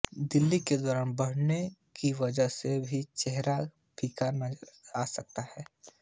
दिल का दौरा पड़ने कि वजह से भी चेहरा फीका नज़र आ सकता है